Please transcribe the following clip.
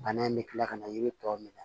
Bana in bɛ kila ka na yiri tɔ minɛ